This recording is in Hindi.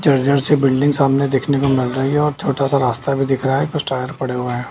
जर-जर सी बिल्डिंग सामने देखने को मिल रही है और छोटा-सा रास्ता भी दिख रहा है कुछ टायर पड़े हुए हैं।